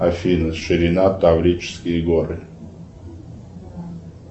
афина ширина таврические горы